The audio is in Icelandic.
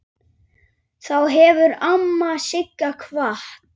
Þá hefur amma Sigga kvatt.